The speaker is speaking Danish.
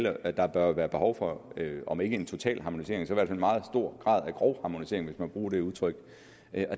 at der bør være behov for om ikke en total harmonisering så i hvert fald en meget stor grad af grovharmonisering hvis jeg må bruge det udtryk